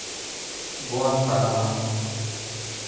гуантанамо